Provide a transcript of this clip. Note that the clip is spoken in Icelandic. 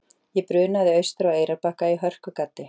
Ég brunaði austur á Eyrarbakka í hörkugaddi.